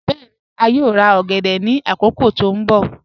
Bẹẹ̀ni, a yòò rà ogèdè ni akókò tó nbọ̀.